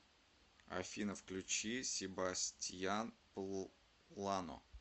афина включи себастьян плано